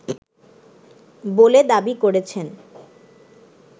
বলে দাবি করেছেন